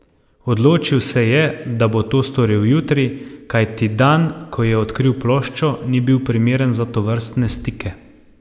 Odločil se je, da bo to storil jutri, kajti dan, ko je odkril ploščo, ni bil primeren za tovrstne stike.